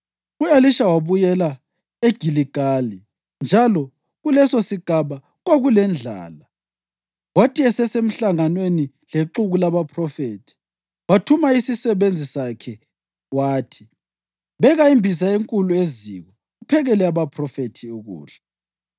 U-Elisha wabuyela eGiligali njalo kulesosigaba kwakulendlala. Kwathi esesemhlanganweni lexuku labaphrofethi, wathuma isisebenzi sakhe wathi, “Beka imbiza enkulu eziko, uphekele abaphrofethi ukudla.”